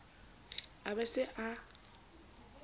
a be a se a